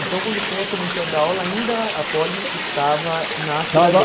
Então, quando o senhor começou a dar aula, ainda a Poli estava na Estava